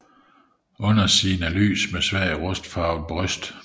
Undersiden er lys med svagt rustfarvet bryst